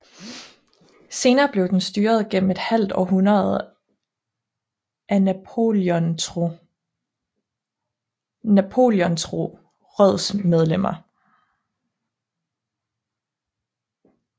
Senere blev den styret gennem et halvt århundrede af Napoleontro rådsmedlemmer